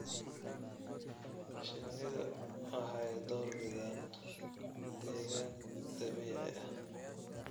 Shinnidu waxay door bidaan deegaan dabiici ah.